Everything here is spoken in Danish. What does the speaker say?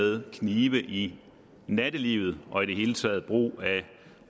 med knive i nattelivet og i det hele taget brug af